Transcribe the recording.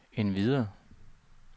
endvidere